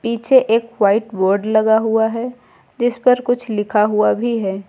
पीछे एक white board लगा हुआ है जीस पर कुछ लिखा हुआ भी है।